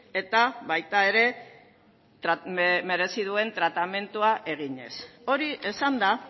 eta baita ere merezi duen tratamendua eginez hori esanda